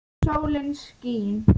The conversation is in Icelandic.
Sólin skín.